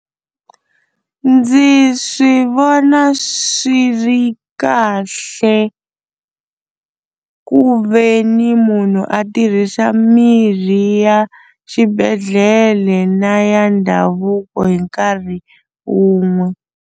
Ndzi swi vona swi ri kahle ku ve ni munhu a tirhisa mirhi ya xibedhlele na ya ndhavuko hi nkarhi wun'we.